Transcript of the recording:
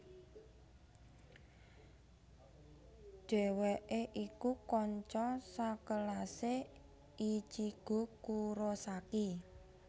Dheweke iku kanca sakelase Ichigo Kurosaki